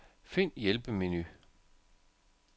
Find hjælpemenu.